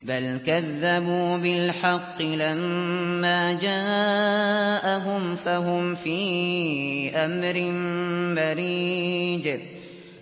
بَلْ كَذَّبُوا بِالْحَقِّ لَمَّا جَاءَهُمْ فَهُمْ فِي أَمْرٍ مَّرِيجٍ